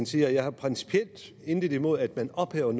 siger jeg har principielt intet imod at man ophæver